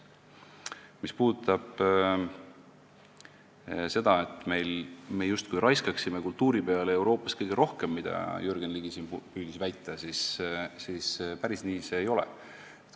Mis puudutab seda, et me justkui raiskaksime kultuuri peale Euroopas kõige rohkem, mida Jürgen Ligi siin püüdis väita, siis päris nii see ei ole.